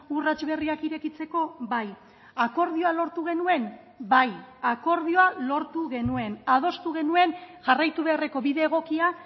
urrats berriak irekitzeko bai akordioa lortu genuen bai akordioa lortu genuen adostu genuen jarraitu beharreko bide egokia